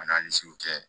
Ani segu cɛ